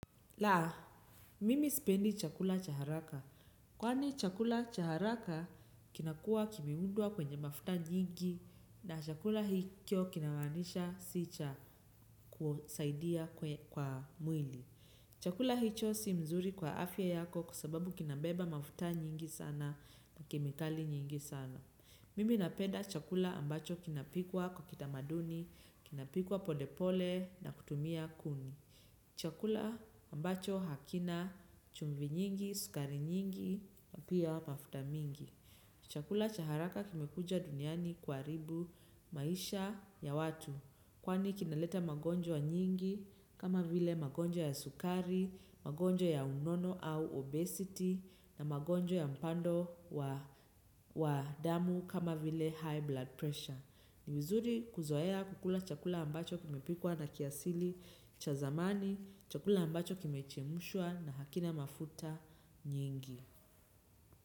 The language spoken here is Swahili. Laa, mimi sipendi chakula cha haraka. Kwani chakula cha haraka kinakuwa kimeundwa kwenye mafuta nyingi na chakula hikyo kinamanisha si cha kusaidia kwa mwili. Chakula hicho si mzuri kwa afya yako kwa sababu kinabeba mafuta nyingi sana na kemikali nyingi sana. Mimi nanpeda chakula ambacho kinapikwa kwa kitamaduni, kinapikwa polepole na kutumia kuni. Chakula ambacho hakina chumvi nyingi, sukari nyingi, pia mafuta mingi. Chakula cha haraka kimekuja duniani kuharibu maisha ya watu. Kwani kinaleta magonjwa nyingi kama vile magonjwa ya sukari, magonjwa ya unono au obesity na magonjo ya mpando wa damu kama vile high blood pressure. Ni vizuri kuzoea kukula chakula ambacho kimepikwa na kiasili cha zamani, chakula ambacho kimechemshwa na hakina mafuta nyingi.